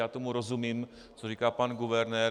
Já tomu rozumím, co říká pan guvernér.